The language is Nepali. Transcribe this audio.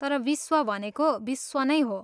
तर विश्व भनेको विश्व नै हो।